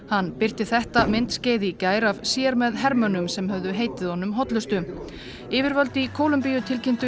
hann birti þetta myndskeið í gær af sér með hermönnum sem höfðu heitið honum hollustu yfirvöld í Kólumbíu tilkynntu